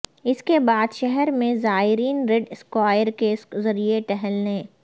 اس کے بعد شہر میں زائرین ریڈ اسکوائر کے ذریعے ٹہلنے